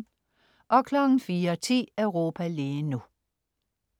04.10 Europa lige nu*